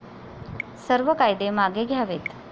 सर्व कायदे मागे घ्यावेत.